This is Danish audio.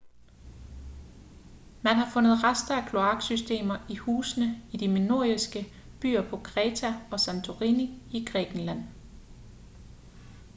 man har fundet rester af kloaksystemer i husene i de minoiske byer på kreta og santorini i grækenland